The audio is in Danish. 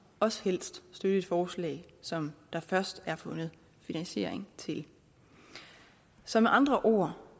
også helst støtte et forslag som der først er fundet finansiering til så med andre ord